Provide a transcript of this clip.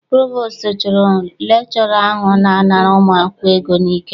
Provostu chụrụ lekchọra ahụ na-anara ụmụ akwụkwọ ego n'ike.